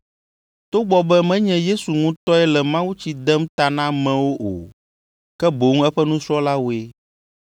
togbɔ be menye Yesu ŋutɔe le mawutsi dem ta na amewo o, ke boŋ eƒe nusrɔ̃lawoe.